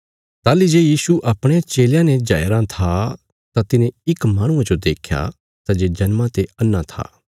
ताहली जे यीशु अपणे चेलयां ने जाया रां था तां तिने इक माहणुये जो देख्या सै जे जन्मा ते अन्हा था